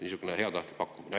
Niisugune heatahtlik pakkumine.